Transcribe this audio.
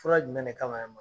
Fura jumɛn ne kama